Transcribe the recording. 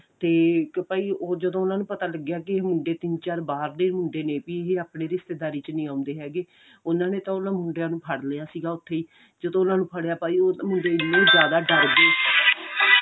ਤੇ ਇੱਕ ਭਾਈ ਉਹ ਜਦੋਂ ਉਹਨਾ ਨੂੰ ਪਤਾ ਲੱਗਿਆ ਕਿ ਇਹ ਮੁੰਡੇ ਤਿੰਨ ਚਾਰ ਬਾਹਰ ਦੇ ਮੁੰਡੇ ਨੇ ਵੀ ਇਹ ਆਪਣੀ ਰਿਸ਼ਤੇਦਾਰ ਚ ਨਹੀਂ ਆਉਂਦੇ ਹੈਗੇ ਉਹਨਾ ਨੇ ਤਾਂ ਉਹ ਮੁੰਡਿਆਂ ਨੂੰ ਫੜ ਲਿਆ ਸੀਗਾ ਉੱਥੇ ਜਦੋਂ ਉਹਨਾ ਨੂੰ ਫੜੀਆਂ ਭਾਈ ਉਹ ਮੁੰਡੇ ਬਹੁਤ ਜਿਆਦਾ ਡਰ ਗਏ